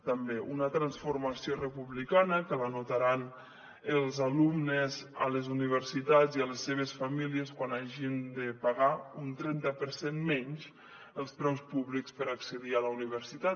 també una transformació republicana que la notaran els alumnes a les universitats i les seves famílies quan hagin de pagar un trenta per cent menys dels preus públics per accedir a la universitat